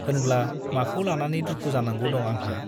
होनब्ला माखौ लानानै दुखु जानांगौ दं आंहा !